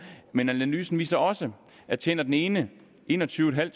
men analysen viser også at tjener den ene enogtyvetusinde